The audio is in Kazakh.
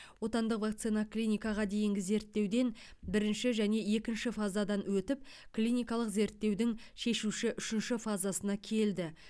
отандық вакцина клиникаға дейінгі зерттеуден бірінші және екінші фазадан өтіп клиникалық зерттеудің шешуші үшінші фазасына келді